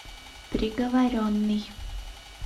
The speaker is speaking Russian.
приговоренный